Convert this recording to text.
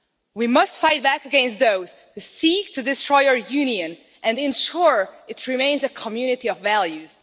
We must fight back against those who seek to destroy our Union and ensure it remains a community of values.